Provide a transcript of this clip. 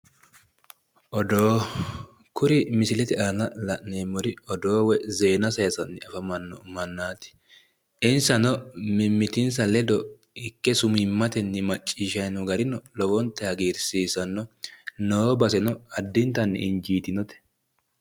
odoo kuri misilete aana la'neemmori odoo woyi zeena saayiisanno mannaati. insano mimmitinsa ledo ikke sumiimmatenni macciishshanni noo gari lowonta hagiirsiisanno. noo baseno addintayi injiitinote.